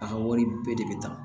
A ka wari bɛɛ de bɛ ta